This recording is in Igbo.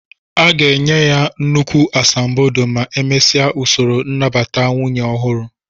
A ga-enye ha nnukwu asambodo ma emesia usoro nnabata nwunye ọhụrụ